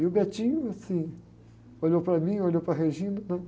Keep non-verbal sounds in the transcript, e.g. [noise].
E o, [unintelligible] assim, olhou para mim, olhou para a [unintelligible] e falou assim,